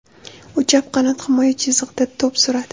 U chap qanot himoya chizig‘ida to‘p suradi.